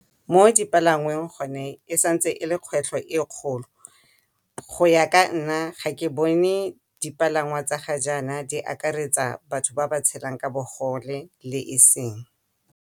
Mo dipalangweng gone e sa ntse e le kgwetlho e kgolo go ya ka nna ga ke bone dipalangwa tsa ga jana di akaretsa batho ba ba tshelang ka bogole le e seng.